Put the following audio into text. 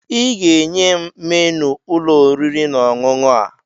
Ị ga-enye m menu ụlọ oriri na ọṅụṅụ a!